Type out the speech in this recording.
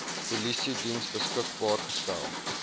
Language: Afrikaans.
polisiediens beskikbaar gestel